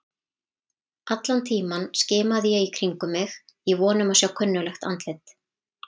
Allan tímann skimaði ég í kringum mig í von um að sjá kunnuglegt andlit.